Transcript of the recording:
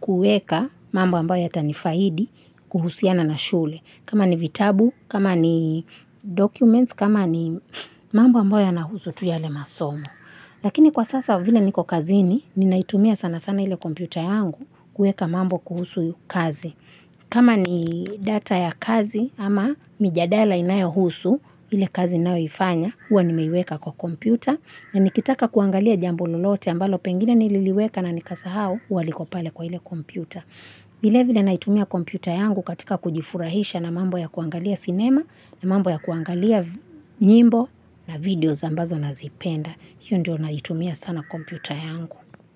kueka mambo ambayo yatanifaidi kuhusiana na shule. Kama ni vitabu, kama ni documents, kama ni mambo ambayo nahusu tu yale masomo. Lakini kwa sasa vile niko kazini, ninaitumia sana sana ile kompyuta yangu kueka mambo kuhusu kazi. Kama ni data ya kazi ama mijadala inayohusu ile kazi ninayoifanya, huwa nimeiweka kwa kompyuta. Na nikitaka kuangalia jambo lolote ambalo pengine nililiweka na nikasahau huwa liko pale kwa ile kompyuta. Vile vile naitumia kompyuta yangu katika kujifurahisha na mambo ya kuangalia cinema, na mambo ya kuangalia nyimbo na videos ambazo nazipenda. Hiyo ndio naitumia sana kompyuta yangu.